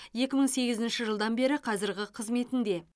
екі мың сегізінші жылдан бері қазіргі қызметінде